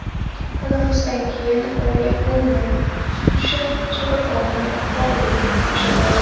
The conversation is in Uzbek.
Tanaffusdan keyin Ole-Gunner Sulsher shogirdlari faollikni oshirdi.